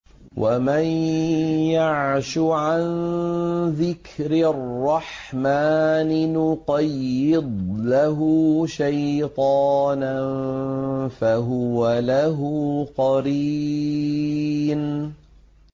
وَمَن يَعْشُ عَن ذِكْرِ الرَّحْمَٰنِ نُقَيِّضْ لَهُ شَيْطَانًا فَهُوَ لَهُ قَرِينٌ